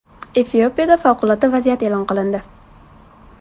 Efiopiyada favqulodda vaziyat e’lon qilindi.